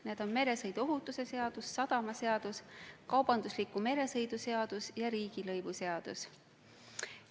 Need on meresõiduohutuse seadus, sadamaseadus, kaubandusliku meresõidu seadus ja riigilõivuseadus.